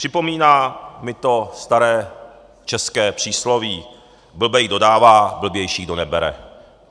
Připomíná mi to staré české přísloví: Blbej, kdo dává, blbější, kdo nebere.